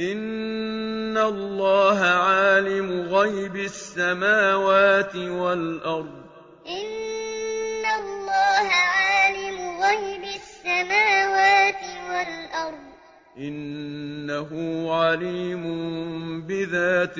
إِنَّ اللَّهَ عَالِمُ غَيْبِ السَّمَاوَاتِ وَالْأَرْضِ ۚ إِنَّهُ عَلِيمٌ بِذَاتِ الصُّدُورِ إِنَّ اللَّهَ عَالِمُ غَيْبِ السَّمَاوَاتِ وَالْأَرْضِ ۚ إِنَّهُ عَلِيمٌ بِذَاتِ